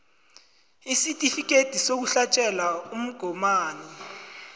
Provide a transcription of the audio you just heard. isitifikhethi sokuhlatjelwa umgomani